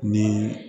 Ni